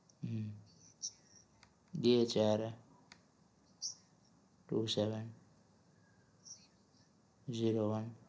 hmm dhara two seven xero one